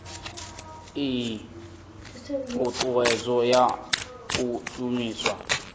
ii thuthuwedzo ya u shumiswa